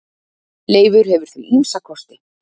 Leifur hefur því ýmsa kosti.